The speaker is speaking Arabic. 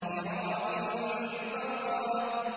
كِرَامٍ بَرَرَةٍ